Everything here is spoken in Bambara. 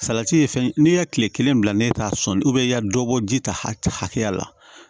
Salati ye fɛn n'i ye kile kelen bila n'e t'a sɔn i ka dɔ bɔ ji ta hakɛya la